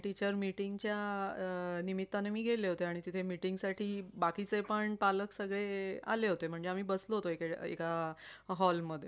teacher meeting निमित्ताने मी गेले होते त्या meeting साठी बाकीचे पण पालक सगळे आले होते म्हणजे आम्ही बसलो होतो सगळे एका hall मध्ये